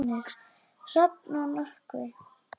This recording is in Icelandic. Hrafn og Nökkvi.